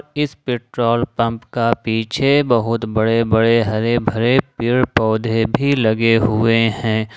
इस petrol pump का पीछे बहुत बड़े बड़े हरे भरे पेड़ पौधे भी लगे हुए हैं ।